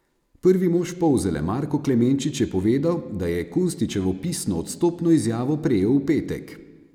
Prvi mož Polzele Marko Klemenčič je povedal, da je Kunstičevo pisno odstopno izjavo prejel v petek.